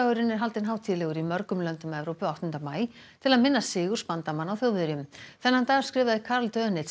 sigurdagurinn er haldinn hátíðlegur í mörgum löndum Evrópu áttunda maí til að minnast sigurs bandamanna á Þjóðverjum þennan dag skrifaði Karl